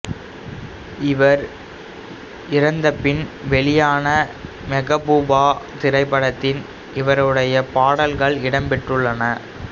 இவர் இறந்தபின் வெளியான மெகபூபா திரைப்படத்தில் இவருடைய பாடல்கள் இடம் பெற்றிருந்தன